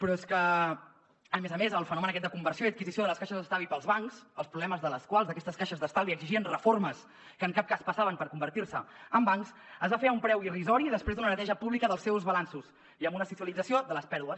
però és que a més a més el fenomen aquest de conversió i adquisició de les caixes d’estalvi pels bancs els problemes de les quals d’aquestes caixes d’estalvi exigien reformes que en cap cas passaven per convertir se en bancs es va fer a un preu irrisori i després d’una neteja pública dels seus balanços i amb una socialització de les pèrdues